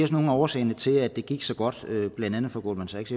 også en af årsagerne til at det gik så godt blandt andet for goldman sachs